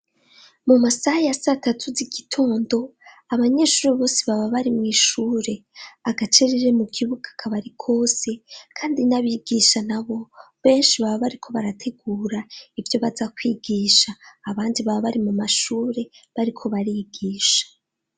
mu masaha ya satatu z' igitondo abanyeshuri bose baba bari mu ishure agacerere mu kibuga kabari kose kandi n'abigisha nabo benshi baba bariko barategura ibyo baza kwigisha abandi baba bari mu mashure bariko barigisha.